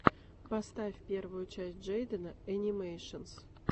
поставь первую часть джейдена энимэйшенс